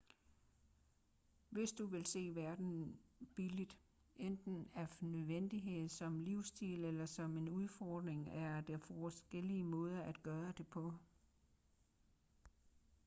hvis du vil se verden billigt enten af nødvendighed som livsstil eller som en udfordring er der forskellige måder at gøre det på